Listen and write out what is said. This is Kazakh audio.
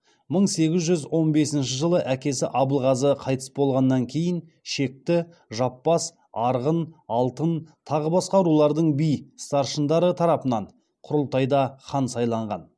мың сегіз жүз он бесінші жылы әкесі абылғазы қайтыс болғаннан кейін шекті жаппас арғын алтын тағы басқа рулардың би старшындары тарапынан құрылтайда хан сайланған